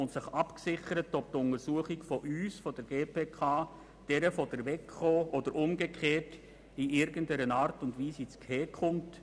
Sie hat die Frage geklärt, ob die Untersuchungen der GPK und der WEKO einander in irgendeiner Art und Weise ins Gehege kommen.